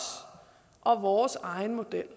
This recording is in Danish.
og vores egen model